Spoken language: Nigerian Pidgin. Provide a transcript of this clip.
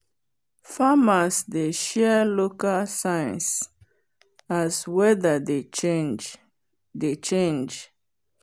farmers dey share local signs as weather dey change dey change